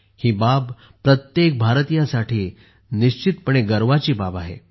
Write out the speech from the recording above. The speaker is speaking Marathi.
ही प्रत्येक भारतीयासाठी निश्चितपणे गर्वाची बाब आहे